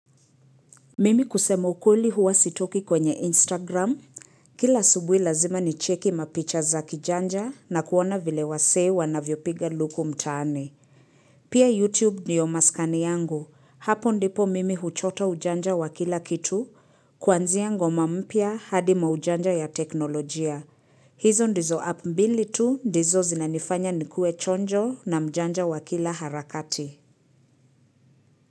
Mimi kusema ukweli huwa sitoki kwenye Instagram. Kila asubuhi lazima ni cheki mapicha za kijanja na kuona vile wasewa na vyopiga luku mtaani. Pia YouTube niyo maskani yangu. Hapo ndipo mimi huchota ujanja wa kila kitu. Kwanzia ngoma mpya hadi ma ujanja ya teknolojia. Hizo ndizo app mbili tu ndizo zinanifanya nikue chonjo na mjanja wa kila harakati.